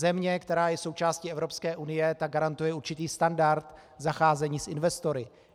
Země, která je součástí Evropské unie, tak garantuje určitý standard zacházení s investory.